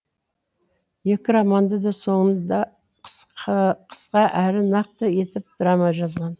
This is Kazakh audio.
екі романды да соңында қысқа әрі нақты етіп драма жазған